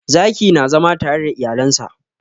Zaki na zama tare da iyalen sa.